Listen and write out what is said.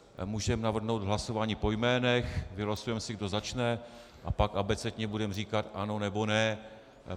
Můžeme navrhnout hlasování po jménech, vylosujeme si, kdo začne, a pak abecedně budeme říkat "ano" nebo "ne".